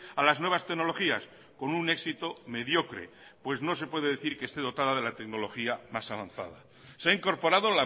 a las nuevas tecnologías con un éxito mediocre pues no se puede decir que esté dotado de la tecnología más avanzada se ha incorporado